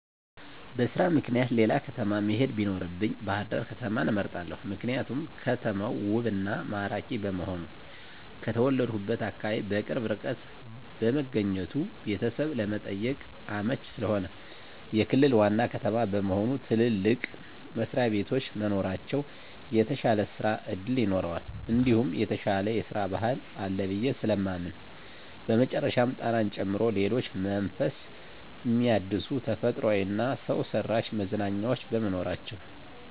በስራ ምክኒያት ሌላ ከተማ መሄድ ቢኖርብኝ ባህርዳር ከተማን እመርጣለሁ። ምክንያቱም ከተማው ውብ እና ማራኪ በመሆኑ፣ ከተወለድሁበት አካባቢ በቅርብ ርቀት በመገኘቱ ቤተሰብ ለመጠየቅ አመቺ ስለሆነ፣ የክልል ዋና ከተማ በመሆኑ ትልልቅ መስሪያቤቶች መኖራቸው የተሻለ ስራ እድል ይኖረዋል እንዲሁም የተሻለ የስራ ባህል አለ ብየ ስለማምን በመጨረሻም ጣናን ጨምሮ ሌሎች መንፈስ ሚያድሱ ተፈጥሯዊ እና ሰውሰራሽ መዝናኛዎች በመኖራቸው።